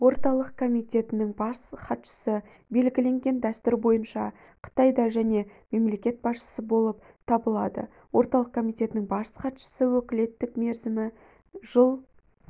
орталық комитетінің бас хатшысы белгіленген дәстүр бойынша қытайда және мемлекет басшысы болып табылады орталық комитетінің бас хатшысының өкілеттік мерзімі жыл